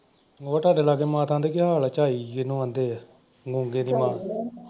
ਹੋਰ ਤੁਹਾਡੇ ਲਾਗੇ ਮਾਤਾ ਦਾ ਕੀ ਹਾਲ ਆ ਝਾਈ ਜਿਹਨੂੰ ਆਂਹਦੇ ਆ .